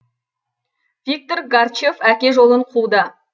виктор гарчев әке жолын қуды